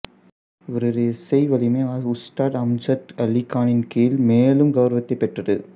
இவரது இசை வலிமை உஸ்தாத் அம்ஜத் அலி கானின் கீழ் மேலும் கௌரவத்தைப் பெற்றது